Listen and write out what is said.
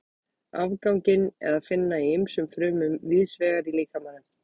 Afganginn er að finna í ýmsum frumum víðs vegar í líkamanum.